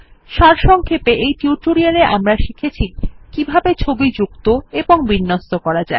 সারসংক্ষেপে এই টিউটোরিয়ালে আমরা শিখেছি কিভাবে ছবি যুক্ত এবং বিন্যস্ত করা যায়